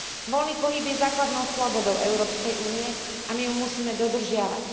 Voľný pohyb je základnou slobodou Európskej únie a my ju musíme dodržiavať.